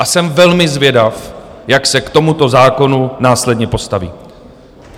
A jsem velmi zvědav, jak se k tomuto zákonu následně postaví.